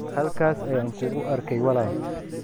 halkaas ayaan kugu arkay walaal.